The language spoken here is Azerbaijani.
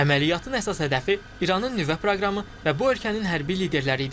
Əməliyyatın əsas hədəfi İranın nüvə proqramı və bu ölkənin hərbi liderləri idi.